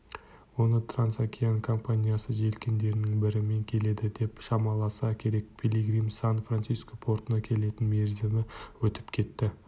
оны трансокеан компаниясы желкендерінің бірімен келеді деп шамаласа керек пилигримнің сан-франциско портына келетін мерзімі өтіп кетті